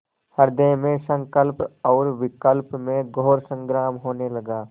हृदय में संकल्प और विकल्प में घोर संग्राम होने लगा